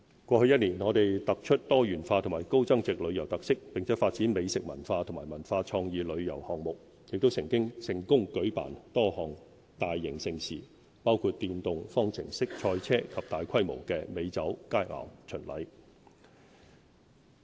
過去一年，我們突出多元化及高增值旅遊特色，並發展美食文化和文化創意旅遊項目，亦成功舉辦多項大型盛事，包括電動方程式賽車及大規模的美酒佳餚巡禮。